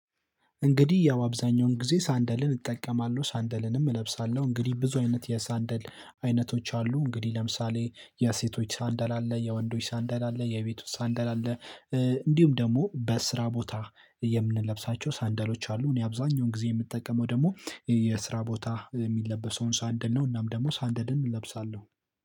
እንግዲህ ያው አብዛኛውን ጊዜ ሳንደልን እጠቀማለሁ ሳንደልንም እለብሳለሁ፤ እንግዲህ ብዙ አይነት የሳንደል አይነቶች አሉ እንግዲህ ለምሳሌ የሴቶች ሳንደል፣ የወንዶች ሳንደል፣ የቤቱ ሳንደል እንዲሁም ደግሞ በስራ ቦታ የምንለብሳቸው ሳንደሎች አሉ። እኔ አብዛኛውም ጊዜ የምጠቀመው ደግሞ የስራ ቦታ የምለበሳውን ሳንደል ነው። እናም ደግሞ ሳንደልም እለብሳለሁ።